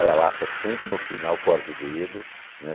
Aí a lata sempre no final corta o dedo, né?